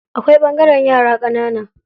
Akwai ɓangaren yara ƙanana.